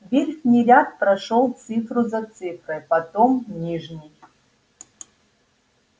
верхний ряд прошёл цифру за цифрой потом нижний